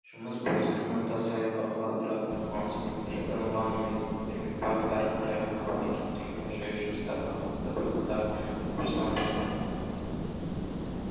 жұмыс барысын апта сайын бақылап тұратын қорғаныс министрлігі нұрлан ермекбаев әрі қарайғы қалпына келтіру мен жою жұмыстарына қатысты бірқатар тапсырма берді